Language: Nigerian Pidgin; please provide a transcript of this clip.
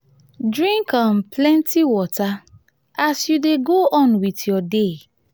drink um plenty water as um you dey go on um with your day